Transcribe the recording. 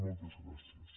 moltes gràcies